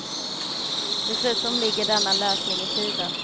Dessutom ligger denna lösning i tiden.